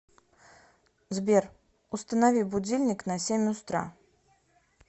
сбер установи будильник на семь устра